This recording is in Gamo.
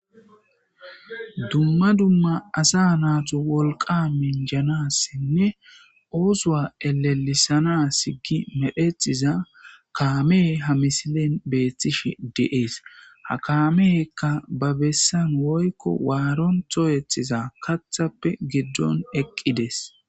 dumma dumma asa naato wolqa minjanassinne oosowa elelisana sigi medhetxiza kaame ha misilin beethtish de7ees ha kamehekka ba bessan woykko waaron to ethiza kathappe giddon eqqides